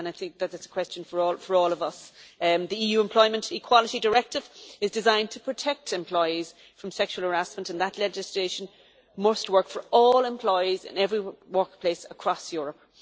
That is a question for all of us. The EU Employment Equality Directive is designed to protect employees from sexual harassment, and that legislation must work for all employees in every workplace across Europe.